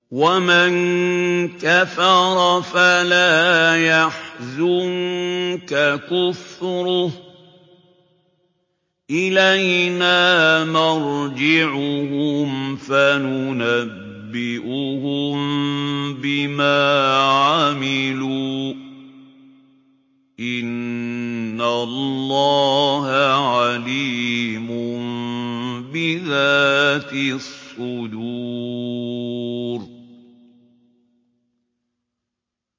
وَمَن كَفَرَ فَلَا يَحْزُنكَ كُفْرُهُ ۚ إِلَيْنَا مَرْجِعُهُمْ فَنُنَبِّئُهُم بِمَا عَمِلُوا ۚ إِنَّ اللَّهَ عَلِيمٌ بِذَاتِ الصُّدُورِ